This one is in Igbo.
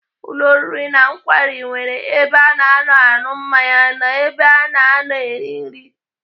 Ụlọ oriri na nkwari nwere ebe ana anọ aṅụ mmanya na ebe ana anọ eri nri.